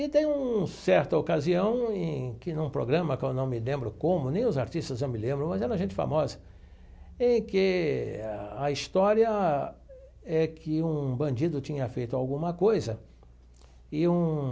E tem um certa ocasião, em que num programa que eu não me lembro como, nem os artistas eu me lembro, mas era gente famosa, em que a história é que um bandido tinha feito alguma coisa e um